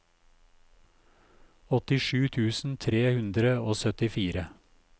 åttisju tusen tre hundre og syttifire